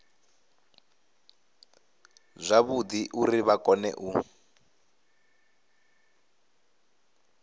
zwavhudi uri vha kone u